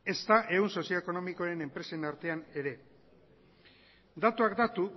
ezta ehun sozioekonomikoen enpresen artean ere datuak datu